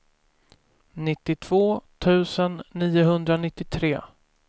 nittiotvå tusen niohundranittiotre